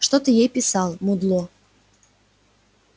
что ты ей писал мудло